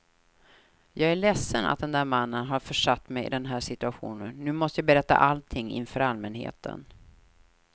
Jag är ledsen att den där mannen har försatt mig i den här situationen, nu måste jag berätta allting inför allmänheten.